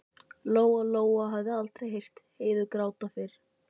Lóa Lóa hafði aldrei heyrt Heiðu gráta fyrr.